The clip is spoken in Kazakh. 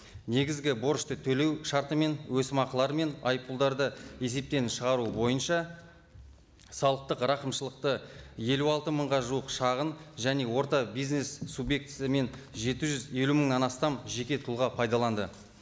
негізгі борышты төлеу шарты мен өсімақылары мен айыппұлдарды есептен шығару бойынша салықтық рақымшылықты елу алты мыңға жуық шағын және орта бизнес субъектісі мен жеті жүз елу мыңнан астам жеке тұлға пайдаланды